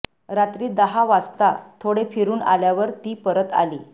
रात्री दहा वाजता थोडे फिरून आल्यावर ती परत आली